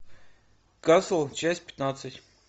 касл часть пятнадцать